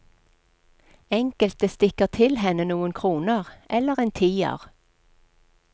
Enkelte stikker til henne noen kroner, eller en tier.